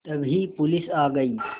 तभी पुलिस आ गई